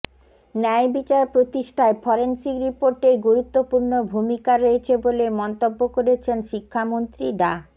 ন্যায় বিচার প্রতিষ্ঠায় ফরেনসিক রিপোর্টের গুরুত্বপূর্ণ ভূমিকা রয়েছে বলে মন্তব্য করেছেন শিক্ষামন্ত্রী ডা